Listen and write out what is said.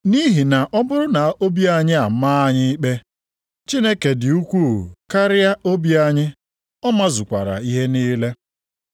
Nʼihi na ọ bụrụ na obi anyị amaa anyị ikpe, Chineke dị ukwuu karịa obi anyị, ọ mazukwara ihe niile.